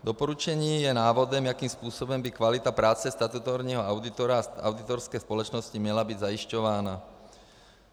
Doporučení je návodem, jakým způsobem by kvalita práce statutárního auditora a auditorské společnosti měla být zajišťována.